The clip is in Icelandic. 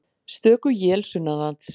Stöku él sunnanlands